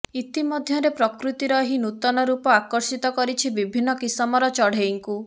ଇତିମଧ୍ୟରେ ପ୍ରକୃତିର ଏହି ନୂତନ ରୂପ ଆକର୍ଷିତ କରିଛି ବିଭିନ୍ନ କିସମର ଚଢ଼େଇଙ୍କୁ